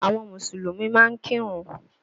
Àwọn Mùsùlùmí máa ń kírun